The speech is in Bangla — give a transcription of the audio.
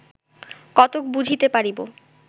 কতক বুঝিতে পারিব